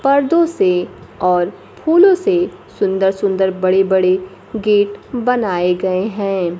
पर्दों से और फूलों से सुंदर सुंदर बड़े बड़े गेट बनाए गए हैं।